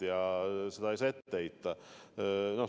Ja seda ei saa neile ette heita.